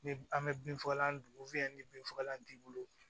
Ni an bɛ binfagalan don ni bin fagalan t'i bolo